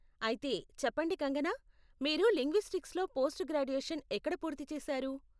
అయితే, చెప్పండి కంగనా, మీరు లింగ్విస్టిక్స్లో పోస్ట్ గ్రాడ్యుయేషన్ ఎక్కడ పూర్తి చేశారు?